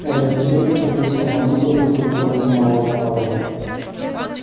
этот священник находился на планете вопреки законам самого основания